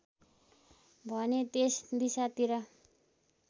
भने त्यस दिशातिर